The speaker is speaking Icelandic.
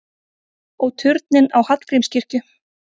Og turninn á Hallgrímskirkju!